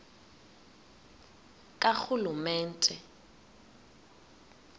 karhulumente